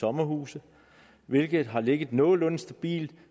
sommerhuse hvilket har ligget nogenlunde stabilt